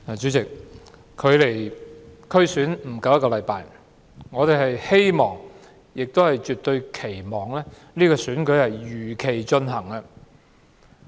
主席，距離區議會選舉不足一星期，我們絕對期望選舉能如期進行。